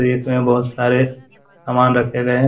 Rake में बहुत सारे सामान रखे गए हैं।